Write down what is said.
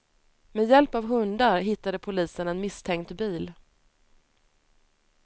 Med hjälp av hundar hittade polisen en misstänkt bil.